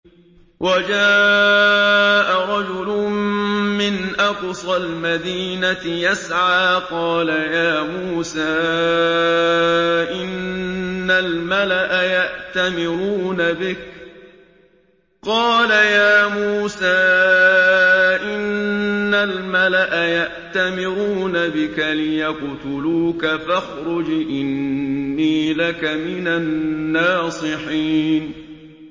وَجَاءَ رَجُلٌ مِّنْ أَقْصَى الْمَدِينَةِ يَسْعَىٰ قَالَ يَا مُوسَىٰ إِنَّ الْمَلَأَ يَأْتَمِرُونَ بِكَ لِيَقْتُلُوكَ فَاخْرُجْ إِنِّي لَكَ مِنَ النَّاصِحِينَ